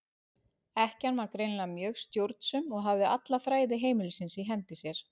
Ekkjan var greinilega mjög stjórnsöm og hafði alla þræði heimilisins í hendi sér.